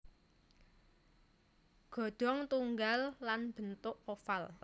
Ghodong tunggal lan bentuk oval